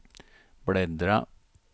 bläddra